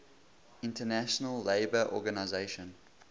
international labour organization